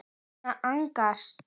Anna Agnars.